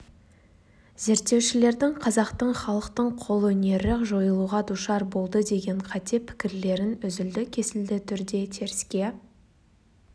зерттеушілердің қазақтың халықтың қолөнері жойылуға душар болды деген қате пікірлерін үзілді кесілді түрде теріске